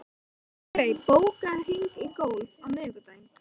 Sigurey, bókaðu hring í golf á miðvikudaginn.